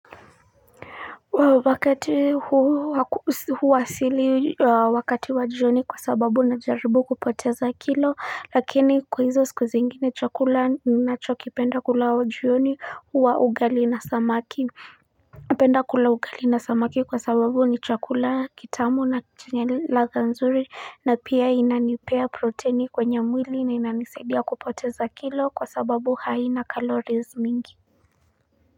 Wakati huu wa asili wakati wa jioni kwa sababu na jaribu kupoteza kilo lakini kwa hizo siku zengine chakula ninachokipenda kula jioni huwa ugali na samaki penda kula ugali na samaki kwa sababu ni chakula kitamu na chenye ladha nzuri na pia inanipea proteni kwenye mwili na inanisaidia kupoteza kilo kwa sababu haina calories mingi.